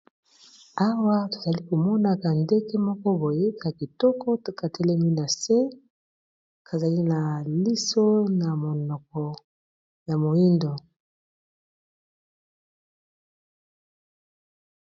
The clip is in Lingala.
Awa tozali komona ka ndeke moko boye ka kitoko, to katelemi na se kazali na liso na monoko ya moyindo.